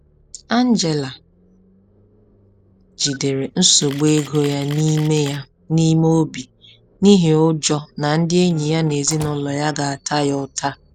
Angela jidere nsogbu ego ya n’ime ya n’ime obi n’ihi ụjọ na ndị enyi na ezinụlọ ya ga-ata ya ụta.